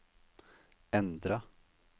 endra